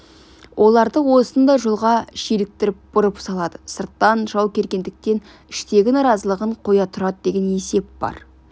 оларды осындай жолға желіктіріп бұрып салады сырттан жау келгендіктен іштегі наразылығын қоя тұрады деген есеп бар